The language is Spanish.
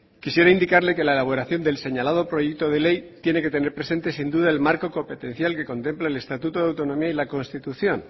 quisiera indicarle que la elaboración del señalado proyecto de ley tiene que tener presente sin duda el marco competencial que contempla el estatuto de autonomía y la constitución